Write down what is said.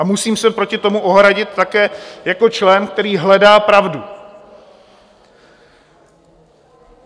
A musím se proti tomu ohradit také jako člen, který hledá pravdu.